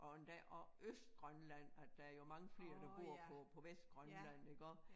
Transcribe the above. Og endda og Østgrønland at der jo mange flere der bor på på Vestgrønland iggå